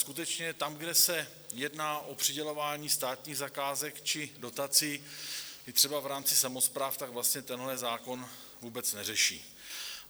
Skutečně tam, kde se jedná o přidělování státních zakázek či dotací, i třeba v rámci samospráv, tak vlastně tenhle zákon vůbec neřeší.